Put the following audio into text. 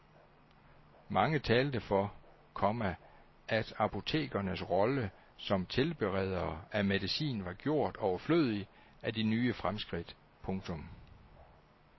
Mange talte for, komma at apotekernes rolle som tilberedere af medicin var gjort overflødig af de nye fremskridt. punktum